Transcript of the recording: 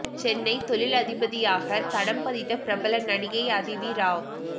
சென்னை தொழிலதிபதியாக தடம் பதித்த பிரபல நடிகை அதிதி ராவ்